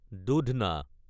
দুধনা